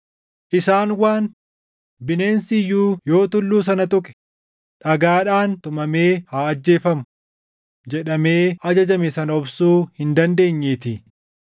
Isaan waan, “Bineensi iyyuu yoo tulluu sana tuqe dhagaadhaan tumamee haa ajjeefamu” + 12:20 \+xt Bau 19:12,13\+xt* jedhamee ajajame sana obsuu hin dandeenyeetii.